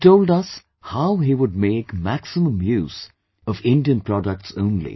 He had told us how he would make maximum use of Indian products only